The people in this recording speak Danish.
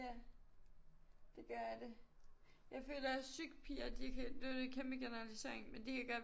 Ja det gør det jeg føler også psyk-piger de kan nu er det en kæmpe generalisering men de kan godt